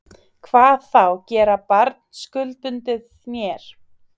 Hvað þá gera barn skuldbundið mér.